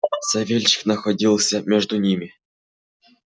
савельич находился между ими